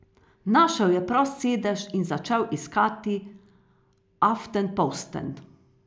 Našel je prost sedež in začel listati Aftenposten.